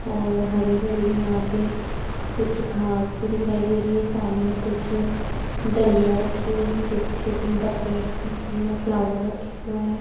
और हरी-हरी यहाँ पे कुछ घास भी दिखाई दे रही है सामने कुछ डलिया रखी हुई है छोटी-छोटी बकेट्स है जिनमें फ्लावर रखे हुए है।